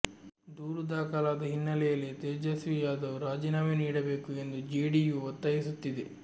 ದೂರು ದಾಖಲಾದ ಹಿನ್ನೆಲೆಯಲ್ಲಿ ತೇಜಸ್ವಿ ಯಾದವ್ ರಾಜೀನಾಮೆ ನೀಡಬೇಕು ಎಂದು ಜೆಡಿಯು ಒತ್ತಾಯಿಸುತ್ತಿದೆ